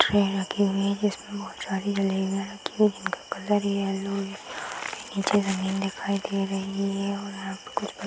tray रखी हुई है जिसमें बहुत सारी जलेबियाँ रखी हुई हैं इनका कलर येलो निचे रंगीन दिखाई दे रही है और यहाँ पर कुछ --